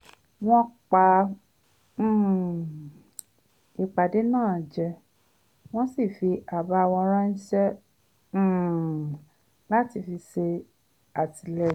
wọ́n pa um ìpàdé náà jẹ wọ́n sì fi àbá wọn ránṣẹ́ um láti fi ṣè àtìlẹ́yìn